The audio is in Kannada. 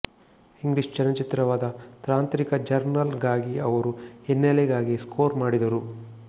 ಇಂಗ್ಲಿಷ್ ಚಲನಚಿತ್ರವಾದ ತಾಂತ್ರಿಕ ಜರ್ನಲ್ ಗಾಗಿ ಅವರು ಹಿನ್ನೆಲೆಗಾಗಿ ಸ್ಕೋರ್ ಮಾಡಿದರು